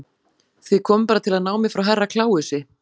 Þið komuð bara til að ná mér frá Herra Kláusi.